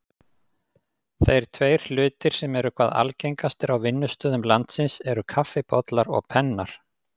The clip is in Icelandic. Þeir tveir hlutir sem eru hvað algengastir á vinnustöðum landsins eru kaffibollar og pennar.